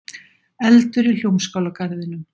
Eldur í Hljómskálagarðinum